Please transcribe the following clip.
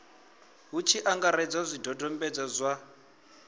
hu tshi angaredzwa zwidodombedzwa zwa